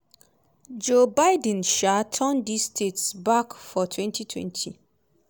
joe biden um turn dis states back for 2020.